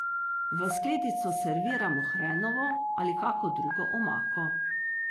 V skledico serviramo hrenovo ali kako drugo omako.